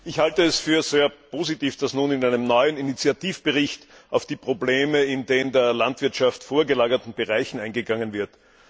Frau Präsidentin! Ich halte es für sehr positiv, dass nun in einem neuen Initiativbericht auf die Probleme in den der Landwirtschaft vorgelagerten Bereichen eingegangen wird.